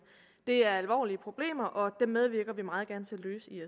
det er alvorlige problemer og dem medvirker vi meget gerne til at løse i